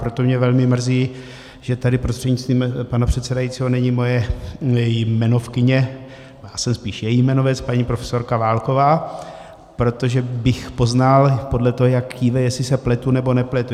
Proto mě velmi mrzí, že tady prostřednictvím pana předsedajícího není moje jmenovkyně - já jsem spíš její jmenovec - paní profesorka Válková, protože bych poznal podle toho, jak kýve, jestli se pletu, nebo nepletu.